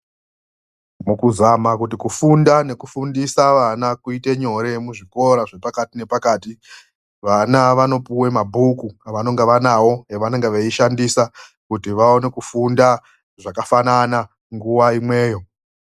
Mukuzama kuti kufunda nekufundisa vana kuite nyore muzvikora zvepakati-nepakati, vana vanopuwa mabhuku avanonga vanawo, evanonga veishandisa kuti vaone kufunda zvakafanana nguwa imweyo.